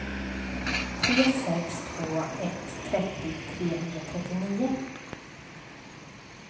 tre sex två ett trettio trehundratrettionio